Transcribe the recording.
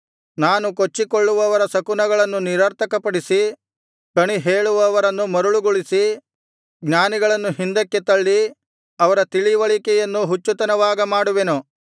ನಾನು ಕೊಚ್ಚಿಕೊಳ್ಳುವವರ ಶಕುನಗಳನ್ನು ನಿರರ್ಥಕಪಡಿಸಿ ಕಣಿಹೇಳುವವರನ್ನು ಮರುಳುಗೊಳಿಸಿ ಜ್ಞಾನಿಗಳನ್ನು ಹಿಂದಕ್ಕೆ ತಳ್ಳಿ ಅವರ ತಿಳಿವಳಿಕೆಯನ್ನು ಹುಚ್ಚುತನವಾಗ ಮಾಡುವೆನು